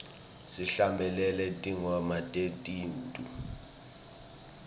sihlabelele tingoma tesintfu